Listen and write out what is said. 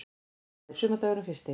Það er sumardagurinn fyrsti.